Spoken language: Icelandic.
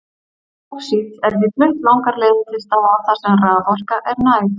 Báxít er því flutt langar leiðir til staða þar sem raforka er næg.